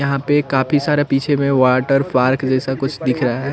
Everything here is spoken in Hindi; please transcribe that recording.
यहाँ पे काफी सारा पीछे में वाटरपार्क जैसा कुछ दिख रहा है।